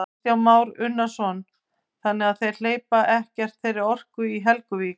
Kristján Már Unnarsson: Þannig að þeir hleypa ekkert þeirri orku í Helguvík?